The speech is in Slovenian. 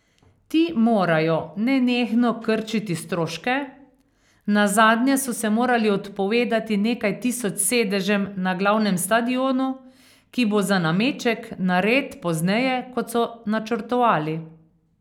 Ti morajo nenehno krčiti stroške, nazadnje so se morali odpovedati nekaj tisoč sedežem na glavnem stadionu, ki bo za nameček nared pozneje, kot so načrtovali.